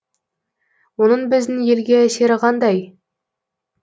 оның біздің елге әсері қандай